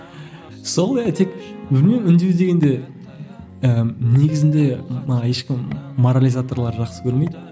сол білмеймін үндеу дегенде ііі негізінде ешкім морализаторлар жақсы көрмейді